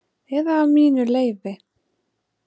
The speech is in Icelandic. Eða mínu leyfi.